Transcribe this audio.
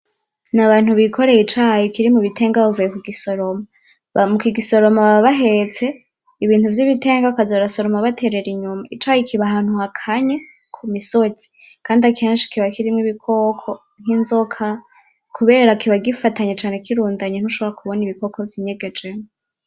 Ni abantu bikoreye icayi kiri mu bitenga bavuye kugisoroma. Ba mukigisoroma baba bahetse ibintu vy’ibitenga bakaza barasoroma baterera inyuma. Icayi kiba ahantu hakanye ku misozi. Kandi akenshi kiba kirimwo ibikoko nk’inzoka kubera kiba kigafatanye cane kirundanye ntushobora kubona ibikoko vyinyeganyejemo.